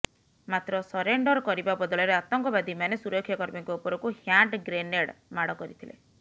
ମାତ୍ର ସରେଣ୍ଡର କରିବା ବଦଳରେ ଆତଙ୍କବାଦୀମାନେ ସୁରକ୍ଷା କର୍ମୀଙ୍କ ଉପରକୁ ହ୍ୟାଣ୍ଡ ଗ୍ରେନେଡ୍ ମାଡ଼ କରିଥିଲେ